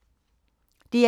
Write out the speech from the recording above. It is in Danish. DR2